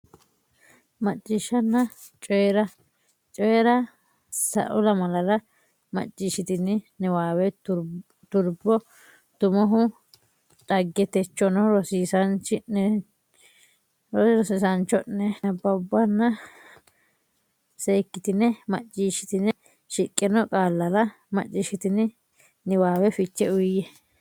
Macciishshanna Coyi ra Coyi ra Sa u lamalara macciishshitini niwaawe Turbo Tummohu dhagge techono rosiisaanchi ne cho ne nabbawanna bbanna seekkitine macciishshitine shiqqino qaallara macciishshitini niwaawe fiche uyiyye.